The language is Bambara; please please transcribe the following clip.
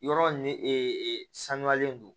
Yɔrɔ ni ee sanuyalen don